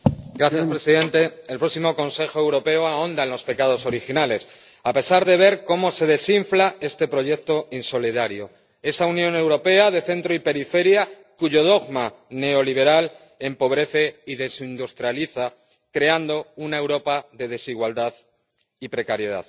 Señor presidente, el próximo Consejo Europeo ahonda en los pecados originales, a pesar de ver cómo se desinfla este proyecto insolidario, esa Unión Europea de centro y periferia cuyo dogma neoliberal empobrece y desindustrializa, creando una Europa de desigualdad y precariedad.